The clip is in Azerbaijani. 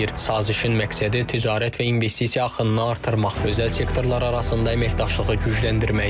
Sazişin məqsədi ticarət və investisiya axınını artırmaq, özəl sektorlar arasında əməkdaşlığı gücləndirməkdir.